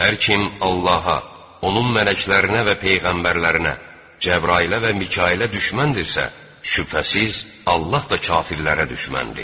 Hər kim Allaha, onun mələklərinə və peyğəmbərlərinə, Cəbrailə və Mikailə düşməndirsə, şübhəsiz, Allah da kafirlərə düşməndir.